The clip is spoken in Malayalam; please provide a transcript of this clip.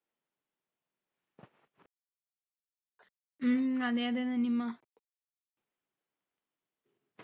ഉം അതെ അതെ നനിമ്മ